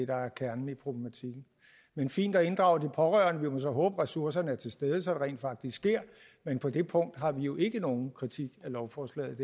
der er kernen i problematikken men fint at inddrage de pårørende vi må så håbe at ressourcerne er til stede så det rent faktisk sker men på det punkt har vi jo ikke nogen kritik af lovforslaget